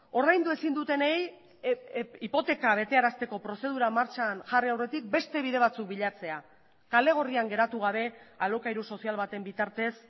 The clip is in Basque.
ordaindu ezin dutenei hipoteka betearazteko prozedura martxan jarri aurretik beste bide batzuk bilatzea kale gorrian geratu gabe alokairu sozial baten bitartez